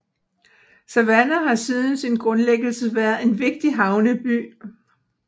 Savannah har siden sin grundlæggelse været en vigtig havneby